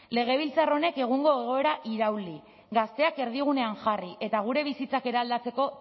legebiltzar honek egungo egoera irauli gazteak erdigunean jarri eta gure bizitzak eraldatzeko